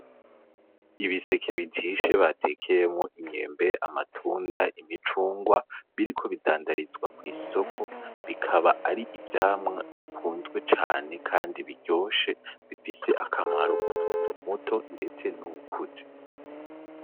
Ibiseke bijishe batekeyemwo imyembe, amatunda, imicungwa biriko bidandarizwa mw'isoko, bikaba ari ivyamwa bikunzwe cane kandi biryoshe, bifise akamaro k'umuntu muto ndetse n'uwukuze.